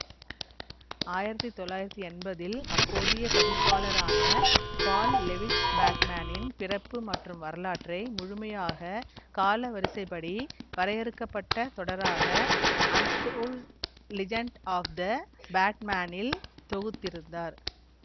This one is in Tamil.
ஆயிரத்தி தொள்ளாயிரத்தி என்பதில் அப்போதைய பதிப்பாளரான பால் லெவிட்ஸ் பேட்மேனின் பிறப்பு மற்றும் வரலாற்றை முழுமையாக காலவரிசைப்படி வரையறுக்க பட்ட தொடராக அண்டோல்டு லிஜெண்ட் ஆப் த பேட்மேனில் தொகுத்திருந்தார்